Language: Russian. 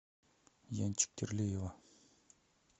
янчик терлеева